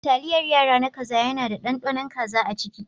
Taliyar yara na kaza yana da ɗanɗanon kaza a ciki.